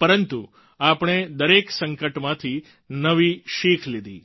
પરંતુ આપણે દરેક સંકટમાંથી નવી શિખ લીધી